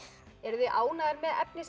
eruð þið ánægðar með efnið